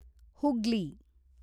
Hooghly